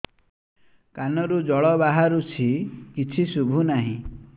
କାନରୁ ଜଳ ବାହାରୁଛି କିଛି ଶୁଭୁ ନାହିଁ